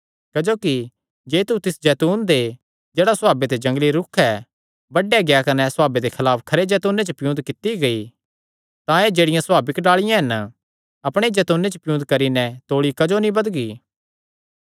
क्जोकि जे तू तिस जैतून ते जेह्ड़ा सभावे ते जंगली रूख ऐ बड्डेया गेआ कने सभावे दे खलाफ खरे जैतूने च पियुन्द कित्ती गेई तां एह़ जेह्ड़ियां सभाविक डाल़िआं हन अपणे ई जैतूने च पियुन्द करी नैं तौल़ी क्जो नीं बधगी